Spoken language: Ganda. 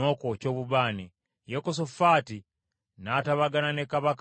Yekosafaati n’atabagana ne kabaka wa Isirayiri.